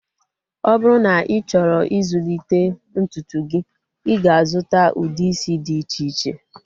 Ọ bụrụ na ị chọrọ ịzụlite ntutu gị, ị ga-azuta ude isi dị iche iche